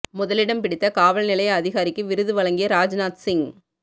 முதலிடம் பிடித்த காவல் நிலைய அதிகாரிக்கு விருது வழங்கிய ராஜ்நாத் சிங்